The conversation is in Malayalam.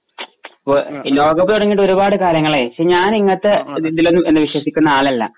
ഈ ലോകകപ്പ് തുടങ്ങിട്ട് ഒരുപാടു കാലങ്ങളായി. ഞാൻ ഇങ്ങനത്തെ ഇതിലൊന്നും വിശ്വസിക്കുന്ന ആളല്ല.